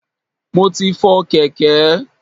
Mo ti fọ kèké.